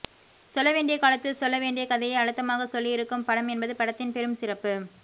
சொல்ல வேண்டிய காலத்தில் சொல்ல வேண்டிய கதையை அழுத்தமாக சொல்லி இருக்கும் படம் என்பது படத்தின் பெரும் சிறப்பு